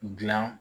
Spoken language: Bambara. Dilan